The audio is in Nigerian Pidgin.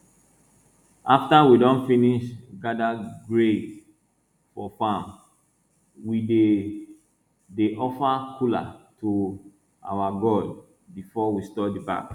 after we don finish gather grains for farm we dey dey offer kola to our god before we store the bags